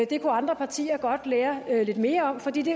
det kunne andre partier godt lære lidt mere af fordi det